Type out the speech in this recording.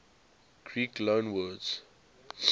greek loanwords